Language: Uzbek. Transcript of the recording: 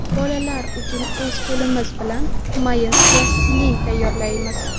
Bolalar uchun o‘z qo‘limiz bilan mayin plastilin tayyorlaymiz.